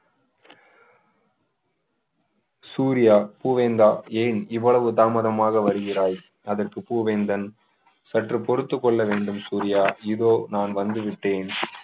சூர்யா பூவேந்தா ஏன் இவ்வளவு தாமதமாக வருகிறாய் அதற்கு பூவேந்தன் சற்று பொறுத்துக் கொள்ள வேண்டும் சூர்யா இதோ நான் வந்து விட்டேன்